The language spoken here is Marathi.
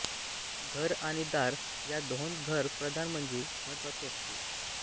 घर आणि दार या दोहोंत घर प्रधान म्हणजे महत्त्वाचे असते